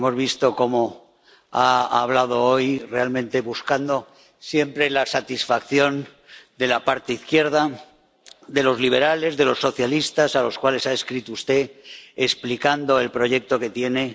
Hemos visto cómo ha hablado hoy, buscando siempre la satisfacción de la parte izquierda, de los liberales, de los socialistas, a los cuales ha escrito usted explicando el proyecto que tiene.